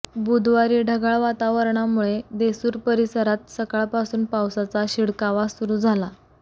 बुधवारी ढगाळ वातावरणामुळे देसूर परिसरात सकाळपासून पावसाचा शिडकावा सुरू झाला